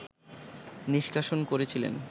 নিষ্কাশন করেছিলেন